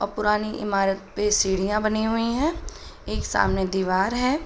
और पुरानी इमारत पे सीढियाँ बनी हुई हैं। एक सामने दीवार है।